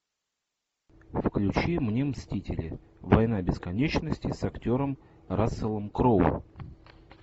включи мне мстители война бесконечности с актером расселом кроу